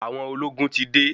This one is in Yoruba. Àwọn ológun ti de.